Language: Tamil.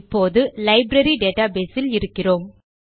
இப்போது நாம் லைப்ரரி டேட்டாபேஸ் இல் இருக்கிறோம்